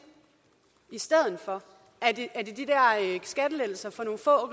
i stedet for er det de der skattelettelser for nogle få